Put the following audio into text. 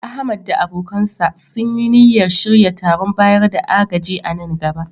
Ahmad da abokansa sun yi niyyar shirya taron bayar da agaji a nan gaba